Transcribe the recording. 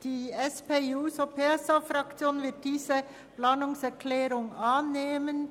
Die SP-JUSO-PSAFraktion wird diese Planungserklärung annehmen.